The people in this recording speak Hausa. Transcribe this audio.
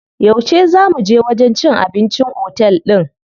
Yauce zaa muje wajen cin abincin otel din?